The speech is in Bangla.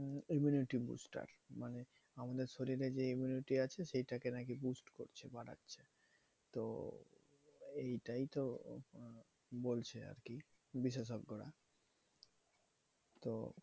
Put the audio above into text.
Immunity booster মানে আমাদের শরীরে যে immunity আছে সেটাকে নাকি boost করছে বাড়াচ্ছে। তো এইটাই তো বলছে আরকি বিশেষজ্ঞরা। তো